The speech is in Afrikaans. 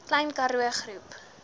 klein karoo groep